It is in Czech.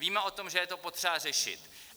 Víme o tom, že je to potřeba řešit.